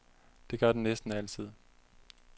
Det gør den næsten altid.